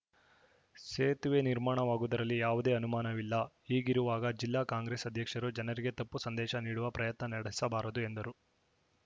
ಸೇತುವೆ ನಿರ್ಮಾಣವಾಗುವುದರಲ್ಲಿ ಯಾವುದೇ ಅನುಮಾನವಿಲ್ಲ ಹೀಗಿರುವಾಗ ಜಿಲ್ಲಾ ಕಾಂಗ್ರೆಸ್‌ ಅಧ್ಯಕ್ಷರು ಜನರಿಗೆ ತಪ್ಪು ಸಂದೇಶ ನೀಡುವ ಪ್ರಯತ್ನ ನಡೆಸಬಾರದು ಎಂದರು